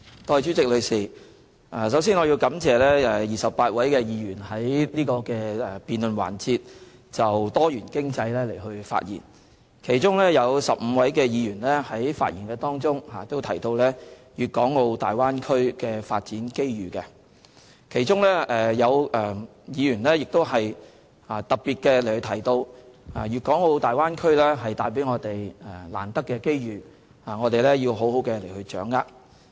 代理主席，首先我要感謝28位議員在這辯論環節就多元經濟發言，其中有15位議員在發言中提到粵港澳大灣區的發展機遇，當中有議員特別提到大灣區為我們帶來難得的機遇，我們要好好掌握。